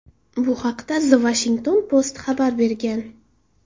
Bu haqda The Washington Post xabar bergan .